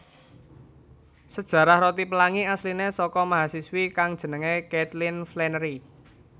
Sajarah roti pelangi asline saka mahasiswi kang jenenge Kaitlin Flanerry